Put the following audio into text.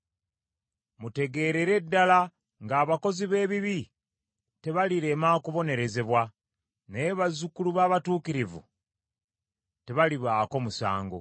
Mutegeerere ddala ng’abakozi b’ebibi tebalirema kubonerezebwa, naye bazzukulu b’abatuukirivu tebalibaako musango.